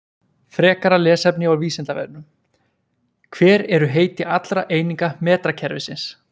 Frekara lesefni á Vísindavefnum: Hver eru heiti allra eininga metrakerfisins?